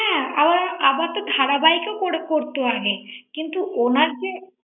হ্যাঁ আবার তো ধারাবাহিকও করতো আগে কিন্তু উনার যে